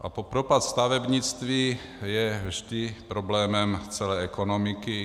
A propad stavebnictví je vždy problémem celé ekonomiky.